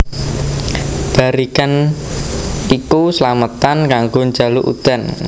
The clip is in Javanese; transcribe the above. Barikan iku slametan kanggo njaluk udan